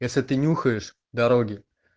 если ты нюхаешь дороги